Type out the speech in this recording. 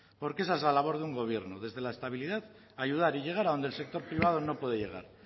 porque esa es la labor de una gobierno desde la estabilidad ayudar y llegar a donde el sector privado no puede llegar